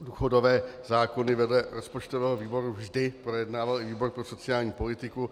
důchodové zákony vedle rozpočtového výboru vždy projednával i výbor pro sociální politiku.